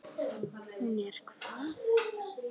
Hún er hvað.